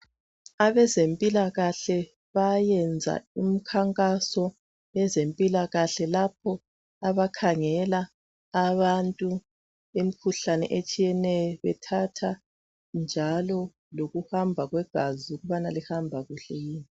Abezempilakahle bayayenza umkhankaso, yezempilakahle. Lapho abakhangela abantu imikhuhlane etshiyeneyo. Bethatha njalo lokuhamba kwegazi, ukuthi lihamba kuhle yini?